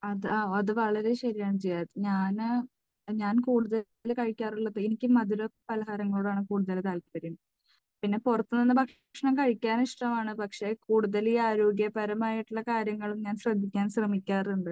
അത് അത് വളരെ ശരിയാണ് ജിയാദ്. ഞാൻ, ഞാൻ കൂടുതൽ കഴിക്കാറുള്ളത് എനിക്ക് മധുരപലഹാരങ്ങളോട് ആണ് കൂടുതൽ താല്പര്യം. പിന്നെ പുറത്തുനിന്ന് ഭക്ഷണം കഴിക്കാൻ ഇഷ്ടമാണ്. പക്ഷേ, കൂടുതൽ ഈ ആരോഗ്യപരമായിട്ടുള്ള കാര്യങ്ങൾ ഞാൻ ശ്രദ്ധിക്കാൻ ശ്രമിക്കാറുണ്ട്.